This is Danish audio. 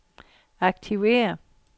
aktiver